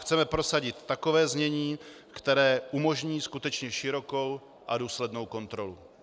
Chceme prosadit takové znění, které umožní skutečně širokou a důslednou kontrolu.